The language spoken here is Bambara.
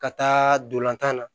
Ka taa dolantan na